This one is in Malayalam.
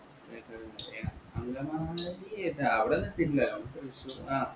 അമിതമായ ഏർ അവിടെത്തില നമക് ത്രിശൂർ ആഹ്